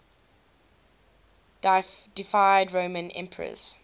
deified roman emperors